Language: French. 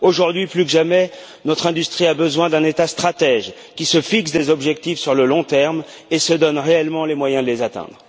Aujourd'hui, plus que jamais, notre industrie a besoin d'un État stratège qui se fixe des objectifs sur le long terme et se donne réellement les moyens de les atteindre.